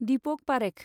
Deepak Parekh